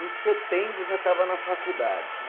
Em setembro já estava na faculdade.